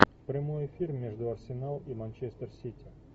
прямой эфир между арсенал и манчестер сити